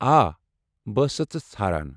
آ، بہٕ ٲسۍ سَتھ ژٕ ژھاران۔